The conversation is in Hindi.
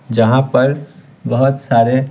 जहां पर बहुत सारे --